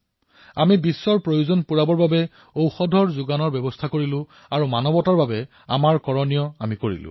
আমি বিশ্বৰ প্ৰতিখন প্ৰয়োজনাৰ্থী দেশলৈ ঔষধ প্ৰেৰণ কৰাৰ দায়িত্ব গ্ৰহণ কৰিলো আৰু মানৱতাৰ এই কাম কৰি দেখুৱালো